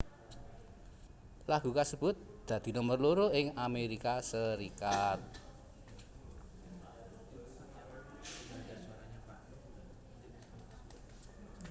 Lagu kasebut dadi nomer loro ing Amérika Serikat